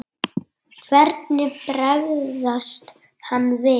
Hvernig bregst hann við?